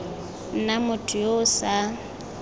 nna motho yo o sa